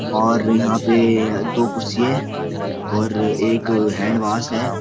और यहाँ पे दो कुर्सी है और एक हैंड वाश है।